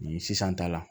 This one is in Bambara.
Ni sisan ta la